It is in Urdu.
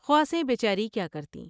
خواصیں بے چاری کیا کرتیں ۔